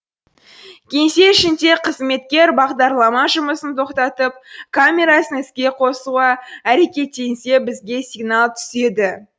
кеңсе ішінде қызметкер бағдарлама жұмысын тоқтатып камерасын іске қосуға әрекеттенсе бізге сигнал түседі